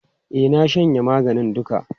E, na shanye maganin duka.